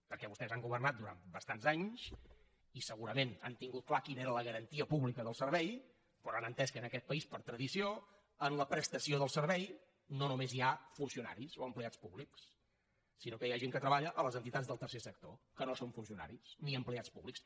perquè vostès han governat durant bastants anys i segurament han tingut clara quina era la garantia pública del servei però han entès que en aquest país per tradició en la prestació del servei no només hi ha funcionaris o empleats públics sinó que hi ha gent que treballa a les entitats del tercer sector que no són funcionaris ni empleats públics